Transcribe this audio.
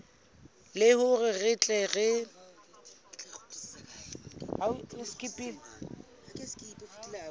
le hore re tle re